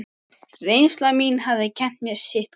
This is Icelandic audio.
Reynsla mín hafði kennt mér sitthvað.